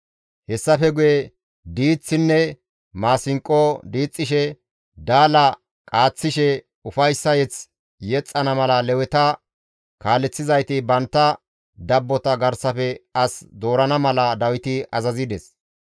Hessafe guye diiththinne maasinqo diixxishe, daala qaaththishe, ufayssa mazamure yexxana mala Leweta kaaleththizayti bantta dabbota garsafe as doorana mala Dawiti azazides.